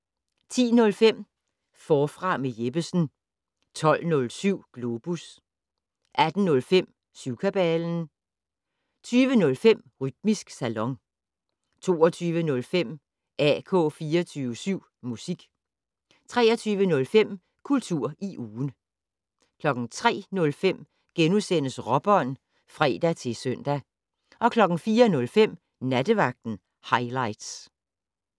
10:05: Forfra med Jeppesen 12:07: Globus 18:05: Syvkabalen 20:05: Rytmisk Salon 22:05: AK 24syv Musik 23:05: Kultur i ugen 03:05: Råbånd *(fre-søn) 04:05: Nattevagten Highligts